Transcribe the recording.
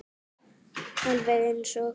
Alveg eins og